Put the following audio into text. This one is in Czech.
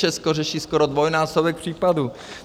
Česko řeší skoro dvojnásobek případů.